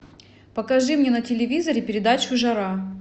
покажи мне на телевизоре передачу жара